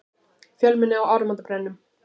Fjölmenni á áramótabrennum